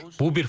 Bu bir faktdır.